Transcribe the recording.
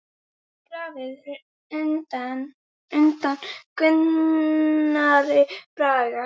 Grafið er undan Gunnari Braga.